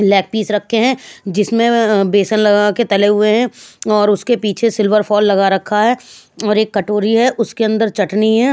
lag piece रखे हैं जिसमें अ अः बेसन लगा के तले हुए हैं और उसके पीछे सिल्वर फॉल लगा रखा है और एक कटोरी है उसके अंदर चटनी है--